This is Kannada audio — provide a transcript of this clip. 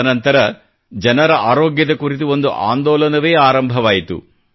ತದನಂತರ ಜನರ ಆರೋಗ್ಯದ ಕುರಿತು ಒಂದು ಆಂದೋಲನವೇ ಆರಂಭವಾಯಿತು